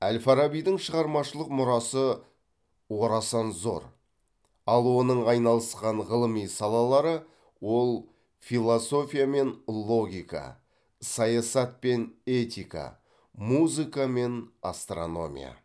әл фарабидің шығармашылық мұрасы орасан зор ал оның айналысқан ғылыми салалары ол философия мен логика саясат пен этика музыка мен астрономия